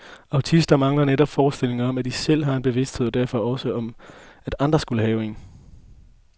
Autister mangler netop forestillingen om, at de selv har en bevidsthed og derfor også om, at andre skulle have en.